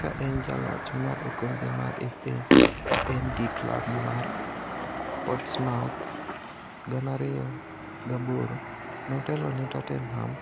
Ka en jaloch mar okombe mar Fa ka en gi klab mar Portsmouth 2008, notelo ne Tottenham